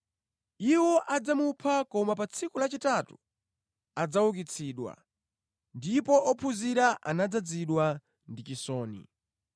Iwo adzamupha koma pa tsiku lachitatu adzaukitsidwa.” Ndipo ophunzira anadzazidwa ndi chisoni.